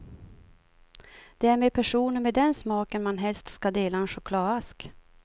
Det är med personer med den smaken man helst ska dela en chokladask.